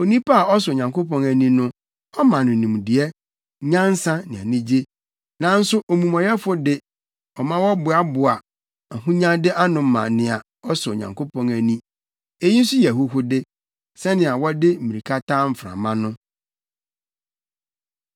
Onipa a ɔsɔ Onyankopɔn ani no, ɔma no nimdeɛ, nyansa ne anigye, nanso omumɔyɛfo de, ɔma ɔboaboa ahonyade ano ma nea ɔsɔ Onyankopɔn ani. Eyi nso yɛ ahuhude, sɛnea wɔde mmirikatu taa mframa no.